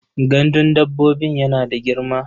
Gandun dabbobin yana da girma.